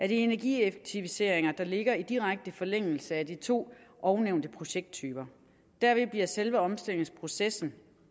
de energieffektiviseringer der ligger i direkte forlængelse af de to ovennævnte projekttyper derved bliver selve omstillingsprocessen